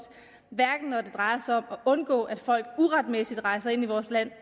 hverken når det drejer sig om at undgå at folk uretmæssigt rejser ind i vores land